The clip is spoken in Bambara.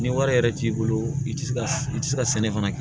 Ni wari yɛrɛ t'i bolo i ti se ka i ti se ka sɛnɛ fana kɛ